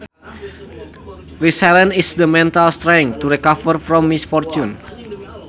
Resilience is the mental strength to recover from misfortune